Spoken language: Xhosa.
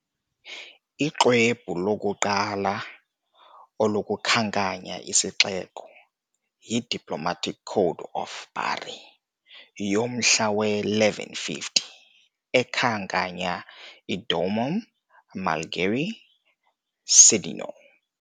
Uxwebhu lokuqala olukhankanya isixeko yi " "Diplomatic Code of Bari" ", yomhla we -1150, ekhankanya " "domum Malgerii Cidoniole" ".